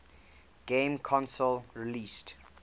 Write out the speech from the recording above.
game console released